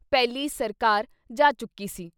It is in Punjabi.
ਪਹਿਲੀ ਸਰਕਾਰ ਜਾ ਚੁੱਕੀ ਸੀ।